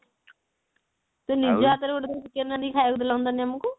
ତୋ ନିଜ ହାତ ରେ ଗୋଟେ ଥର chicken ରାନ୍ଧିକି ଖାଇବାକୁ ଦେଲେ ହୁଅନ୍ତାନି ଆମକୁ